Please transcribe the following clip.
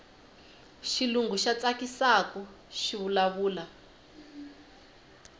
xilungu xa tsakisaku xivula vula